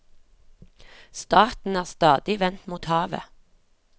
Staten er stadig vendt mot havet.